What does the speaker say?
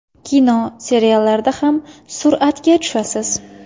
Kino, seriallarda ham suratga tushasiz.